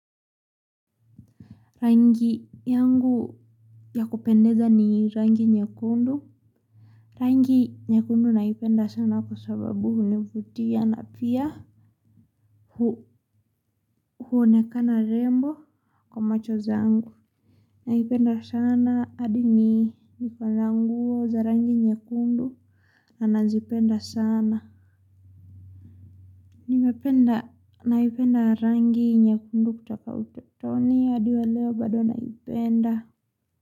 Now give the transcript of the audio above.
Rangi yangu ya kupendeza ni rangi nyekundu. Rangi nyekundu naipenda sana kwa sababu hunivutia na pia huonekana rembo kwa macho zangu. Naipenda sana hadii niko na nguo za rangi nyekundu na nazipenda sana. Naipenda rangi nyekundu kutoka utotoni hadi wa leo bado naipenda.